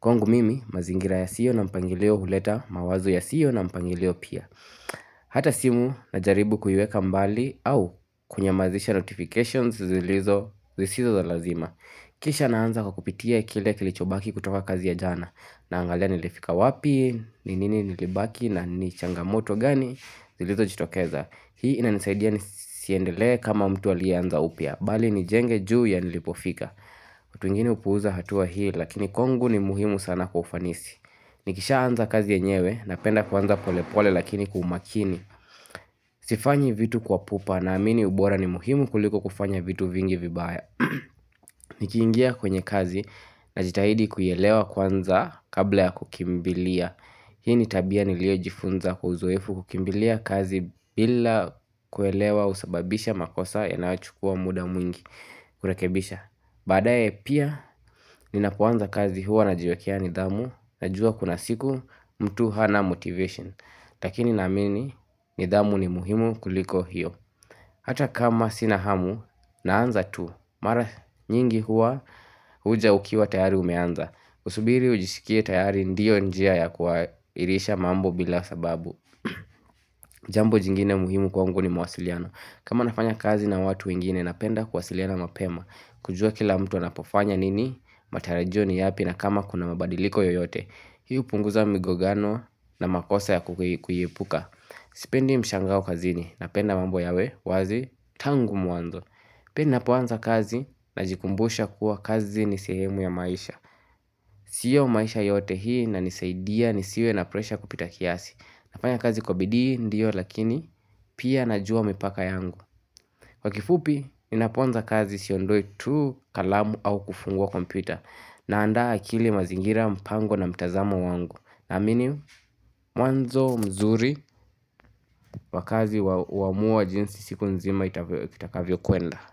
Kwangu mimi mazingira yasiyo na mpangilio huleta mawazo yasiyo na mpangilio pia Hata simu najaribu kuiweka mbali au kunyamazisha notifications zilizo zisizo za lazima Kisha naanza kwa kupitia kile kilichobaki kutoka kazi ya jana Naangalia nilifika wapi, ni nini nilibaki na ni changamoto gani Zilizojitokeza Hii inanisaidia nisiendelee kama mtu aliyeanza upya Bali nijenge juu ya nilipofika watu wengine hupuza hatua hii lakini kwangu ni muhimu sana kwa ufanisi Nikishaanza kazi yenyewe napenda kuanza polepole lakini kwa umakini Sifanyi vitu kwa pupa naamini ubora ni muhimu kuliko kufanya vitu vingi vibaya Nikiingia kwenye kazi najitahidi kuelewa kwanza kabla ya kukimbilia Hii ni tabia niliyojifunza uzoefu kukimbilia kazi bila kuelewa husababisha makosa yanayochukua muda mwingi kurekebisha Baadae pia ninapoanza kazi huwa najiwekea nidhamu najua kuna siku mtu hana motivation lakini naamini nidhamu ni muhimu kuliko hiyo Hata kama sina hamu naanza tu, mara nyingi huwa huja ukiwa tayari umeanza. Usubiri ujishikie tayari ndio njia ya kuwairisha mambo bila sababu. Jambo jingine muhimu kwangu ni mawasiliano. Kama nafanya kazi na watu wengine napenda kuwasiliana mapema. Kujua kila mtu anapofanya nini, matarajio ni yapi na kama kuna mabadiliko yoyote. Hii hupunguza migongano na makosa ya kuiepuka. Sipendi mshangao kazini napenda mambo yawe wazi tangu mwanzo Pia napoanza kazi najikumbusha kuwa kazi ni sehemu ya maisha Sio maisha yote hii inanisaidia nisiwe na presha kupita kiasi nafanya kazi kwa bidii ndio lakini pia najua mipaka yangu Kwa kifupi ninapoanza kazi siondoi tu kalamu au kufungua kompita Naanda akili mazingira mpango na mtazamo wangu Naamini mwanzo mzuri wakazi wamua jinsi siku nzima itakavyokuenda.